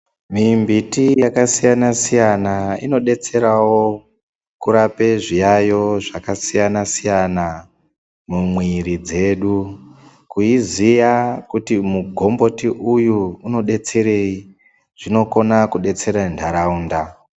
Mimbiti yakasiyana-siyana inodetserawo, kurape zviyaiyo zvakasiyana siyana, mumwiri dzedu. Kuiziya kuti mugomboti uyu unodetserei ,zvinokona kudetsere ntaraunda.